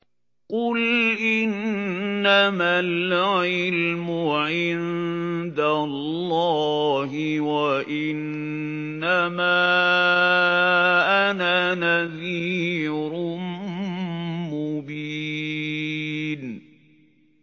قُلْ إِنَّمَا الْعِلْمُ عِندَ اللَّهِ وَإِنَّمَا أَنَا نَذِيرٌ مُّبِينٌ